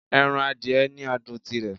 Ẹran adìẹ ni adùn tirè